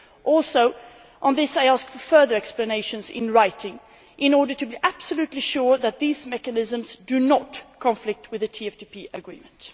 Also on this, I asked for further explanations in writing, in order to be absolutely sure that these mechanisms do not conflict with the TFTP Agreement.